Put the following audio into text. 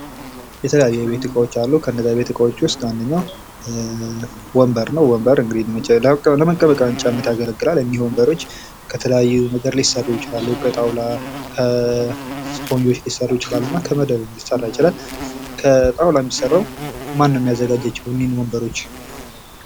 የተለያዩ የቤት እቃዎች አሉ ከእነዚህ ቤት ዕቃዎች ውስጥ አንደኛው ወንበር ነው እንግዲህ ወንበር ለመቀመጫነት ያገለግላል እነኚህ ወንበሮች ከተለያዩ ነገሮች ሊሰሩ ይችላሉ ከጣውላ፥ ከእስፖንጆች ፥ ሊሰሩ ይችላሉ ከመደብም ሊሰራ ይችላል። ከጣውላ የሚሰራው ማነው የሚያዘጋጃቸው እነዚህን ወንበሮች?